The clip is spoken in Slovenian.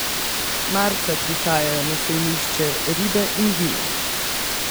Marca prihajajo na sejmišče ribe in vino.